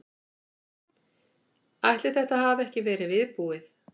Ætli þetta hafi ekki verið viðbúið.